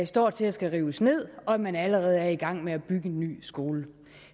står til at skulle rives ned og at man allerede er i gang med at bygge en ny skole